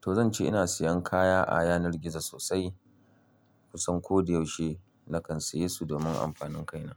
To zan ce ina siyan kaya a yanar gizo sosai kusan ko da yaushe nakan siya su domin amfanin kaina.